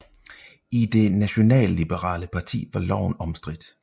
I det nationalliberale parti var loven omstridt